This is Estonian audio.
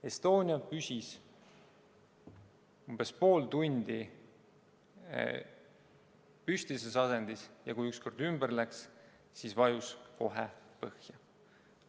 Estonia püsis umbes pool tundi püstises asendis ja kui ükskord ümber läks, siis vajus kohe põhja.